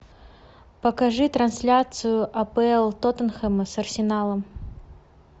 покажи трансляцию апл тоттенхэма с арсеналом